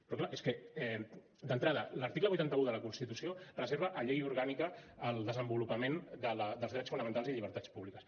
però clar és que d’entrada l’article vuitanta un de la constitució reserva a llei orgànica el desenvolupament dels drets fonamentals i llibertats públiques